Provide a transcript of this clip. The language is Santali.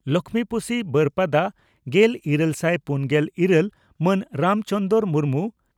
ᱞᱚᱠᱷᱢᱤᱯᱳᱥᱤ ᱵᱟᱹᱨᱯᱟᱫᱟ ᱾ᱜᱮᱞ ᱤᱨᱟᱹᱞ ᱥᱟᱭ ᱯᱩᱱᱜᱮᱞ ᱤᱨᱟᱹᱞ ᱢᱟᱱ ᱨᱟᱢ ᱪᱚᱸᱫᱽᱨᱚ ᱢᱩᱨᱢᱩ